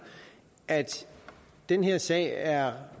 at den her sag er